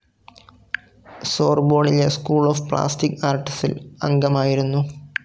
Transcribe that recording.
സോർബോണിലെ school of plastic ആർട്സിൽ അംഗമായിരുന്നു.